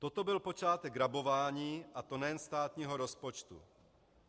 Toto byl počátek rabování, a to nejen státního rozpočtu.